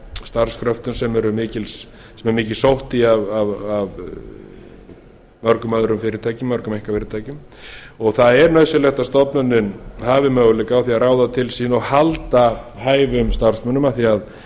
starfskröftum sem er mikið sótt í af mörgum öðrum fyrirtækjum mörgum einkafyrirtækjum og það er nauðsynlegt að stofnunin hafi möguleika á að ráða til sín og halda hæfum starfsmönnum af því að